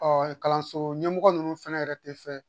kalanso ɲɛmɔgɔ ninnu fɛnɛ yɛrɛ tɛ fɛ